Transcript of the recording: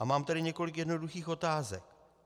A mám tedy několik jednoduchých otázek.